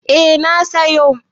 Eh na sayo.